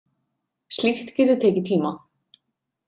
Slíkt getur tekið tíma.